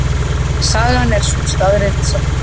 Sagan er sú staðreynd sem.